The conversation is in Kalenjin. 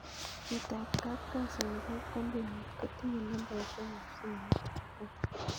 Chitab kapkasi nebo koombuniit kotinye nambaisyek ab simoit ab kaa